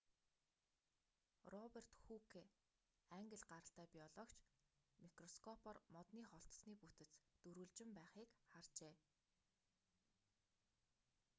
роберт хүүке англи гаралтай биологч микроскопоор модны холтосны бүтэц дөрвөлжин байхыг харжээ